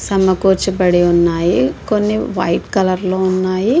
సతముకోచి బడి ఉన్నాయి. కొని వైట్ కలర్ లొ ఉన్నాయి.